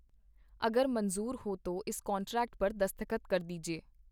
ਅਗਰ ਮਨਜ਼ੂਰ ਹੋ ਤੋ ਇਸ ਕਾਂਟਰੈਕਟ ਪਰ ਦਸਖਤ ਕਰ ਦੀਜੀਏ.